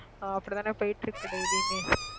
அப்படித்தானே போயிட்டிருக்கு daily யுமே